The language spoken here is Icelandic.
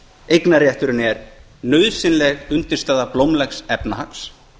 eignarrétturinn er nauðsynleg undirstaða blómlegs efnahags